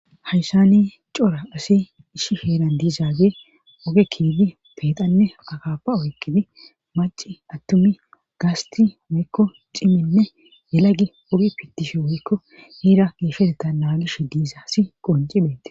Hayssani cora asi ishi heeran diizaage oge kiidi peeqanne akapa oykkidi maci attumi gaasti woykko ciminne yelagi ogi pitishe woykko heera geefeteta naagish diiza si qoncibhete